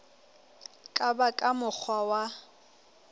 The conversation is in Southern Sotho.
ka ba ka mokgwa wa